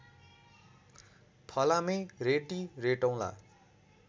फलामे रेटि रेटौला